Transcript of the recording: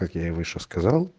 как я и выше сказал